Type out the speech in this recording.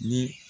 Ni